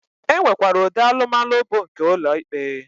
E nwekwara ụdị alụmalụ bụ nke ụlọ ikpe.